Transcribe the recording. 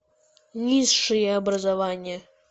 низшее образование